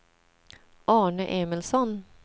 Arne Emilsson